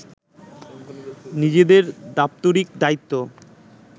নিজেদের দাপ্তরিক দায়িত্ব